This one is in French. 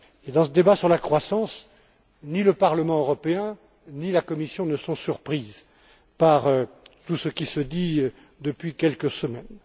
Dans ce débat sur la croissance, ni le Parlement européen, ni la Commission ne sont surpris par tout ce qui se dit depuis quelques semaines.